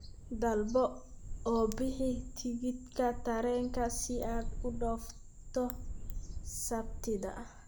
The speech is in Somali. dalbo oo bixi tigidhka tareenka si aad u dhoofto sabtida